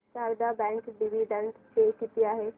Sharda bank dividend pay किती आहे